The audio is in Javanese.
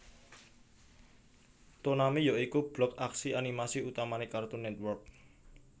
Toonami ya iku blok aksi animasi utamane Cartoon Network